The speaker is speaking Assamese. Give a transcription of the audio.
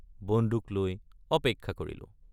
বন্দুক লৈ অপেক্ষা কৰিলোঁ।